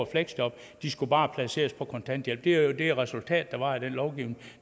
fleksjob de skulle bare placeres på kontanthjælp det er jo det resultat der var af den lovgivning